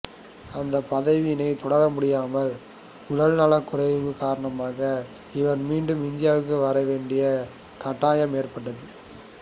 அந்த பதவியில் தொடர முடியாமல் உடல்நலக்குறைவு காரணமாக இவர் மீண்டும் இந்தியாவுக்கு வர வேண்டிய கட்டாயம் ஏற்பட்டது